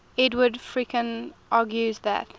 edward fredkin argues that